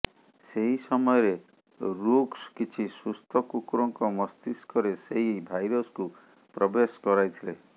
ସେଇ ସମୟରେ ରୁକ୍ସ କିଛି ସୁସ୍ଥ କୁକୁରଙ୍କ ମସ୍ତିଷ୍କରେ ସେଇ ଭାଇରସକୁ ପ୍ରବେଶ କରାଇଥିଲେ